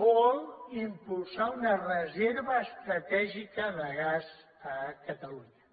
vol impulsar una reserva estratègica de gas a catalunya